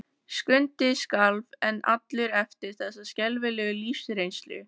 Skundi skalf enn allur eftir þessa skelfilegu lífsreynslu.